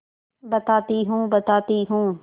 बताती हूँ बताती हूँ